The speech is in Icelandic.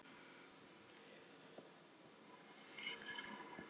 Hvert færi maður ekki fyrir þá upphæð.